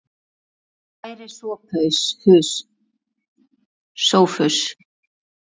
Kæri Sophus.